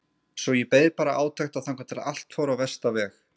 Svo ég beið bara átekta þangað til allt fór á versta veg.